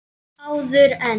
Áður en.